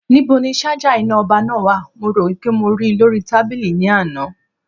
Ní bo ni sájà iná ọba náà wa? mo rò wípé mo ríi lórí tábìlì ní àná